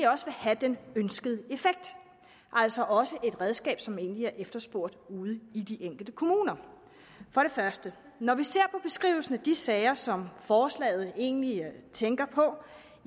også vil have den ønskede effekt altså også et redskab som egentlig er efterspurgt ude i de enkelte kommuner når vi ser på beskrivelsen af de sager som forslaget egentlig